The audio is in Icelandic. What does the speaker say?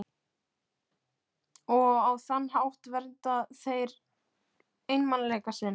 Og á þann hátt vernda þeir einmanaleika sinn.